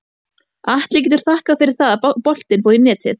Atli getur þakkað fyrir það að boltinn fór í netið.